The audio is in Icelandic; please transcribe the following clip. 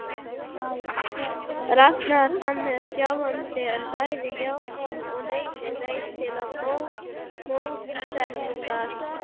Rakar hann sjálfan sig? en bæði játun og neitun leiða til mótsagnar.